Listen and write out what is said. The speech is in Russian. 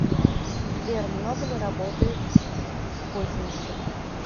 сбер много ли работает козинцев